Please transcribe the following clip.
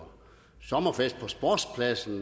sommerfest på sportspladsen